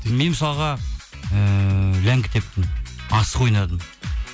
мен мысалға ыыы ләңгі тептім асық ойнадым